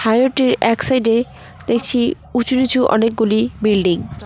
High road -টির এক side -এ দেখছি উঁচু নিচু অনেকগুলি বিল্ডিং ।